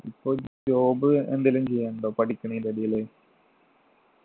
ഇപ്പൊ job എന്തേലും ചെയ്യാനുണ്ടോ പഠിക്കുന്നൻ്റെ ഇടയില്